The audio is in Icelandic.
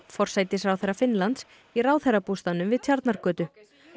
forsætisráðherra Finnlands í ráðherrabústaðnum við Tjarnargötu